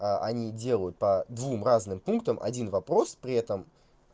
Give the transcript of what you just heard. они делают по двум разным пунктам один вопрос при этом